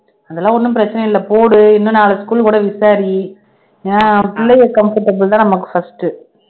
அதெல்லாம் ஒண்ணும் பிரச்சனை இல்லை போடு இன்னும் நாலு school கூட விசாரி ஏனா பிள்ளைக comfortable தான் நமக்கு first உ